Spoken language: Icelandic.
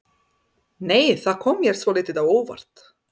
Nei! Það kom mér svolítið á óvart!